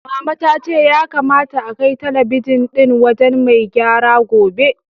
Mama ta ce ya kamata akai talabijin ɗin wajen mai gyara gobe.